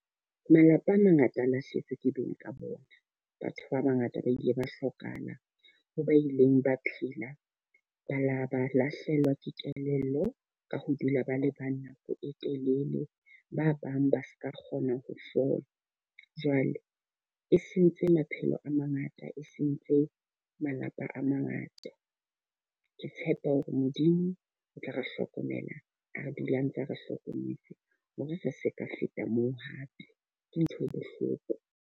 Malapa a mangata a lahlehetswe ke beng ka bona. Batho ba ba ngata ba ile ba hlokahalang, ha ba ileng ba phela ba la ba lahlehelwa ke kelello ka ho dula ba le ba nako e telele. Ba bang ba seka kgona ho fola. Jwale e sentse maphelo a mangata, e seng ntlo malapa a mangata. Ke tshepa hore Modimo o tla re hlokomela, a re dula ntse re hlokometse hore re seka feta moo hape. Ke ntho e bohloko.